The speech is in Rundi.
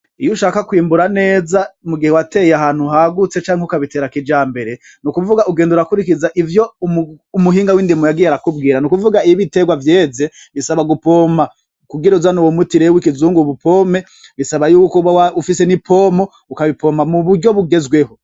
Iyushaka kwimbura neza mugihe wateye ahantu hagutse canke ukabitera kijambere, nukuvuga ugenda urakurikiza ivyo umuhinga w'indimo yagiye arakubwira, n’ukuvuga iy'ibiterawa vyeze bisaba gupompa kugir’uzane uwo muti rero w'ikizungu uwupompe bisaba yuko uba ufise n'ipompo ,ukabipompa muburyo bugezweho .